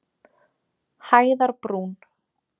Hæðarbrún